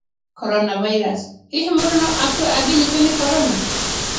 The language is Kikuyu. Coronavirus: Hihi mũndũ no akue angĩnyitwo nĩ Corona?